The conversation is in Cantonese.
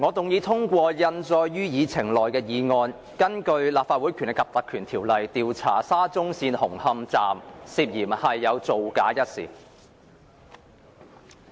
我動議通過印載於議程內的議案，根據《立法會條例》，調查沙中線紅磡站涉嫌造假一事。